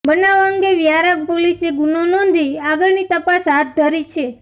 બનાવ અંગે વ્યારા પોલીસે ગુનો નોંધી આગળની તપાસ હાથ ધરી છે